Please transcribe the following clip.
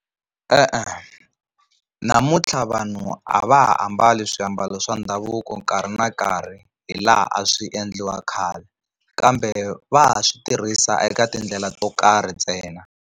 E-e, namuntlha vanhu a va ha ambali swiambalo swa ndhavuko nkarhi na nkarhi hilaha a swi endliwa khale, kambe va ha swi tirhisa eka tindlela to karhi ntsena.